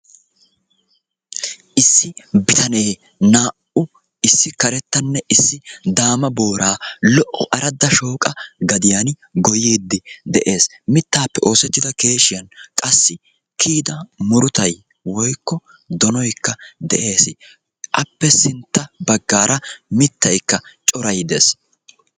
issi bitane naa'u issi karettanne issi daama booraa lo'o aradda shooqa gadiyaani goyyiiddi de'es. mittaappe oosettida keeshiyan qassi kiyida murutay woyikko donoyikka de'es. appe sintta baggaara mittayikka coray des.